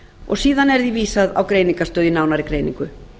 og síðan er því vísað á greiningarstöð í nánari greiningu